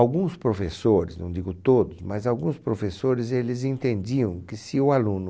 Alguns professores, não digo todos, mas alguns professores eles entendiam que se o aluno...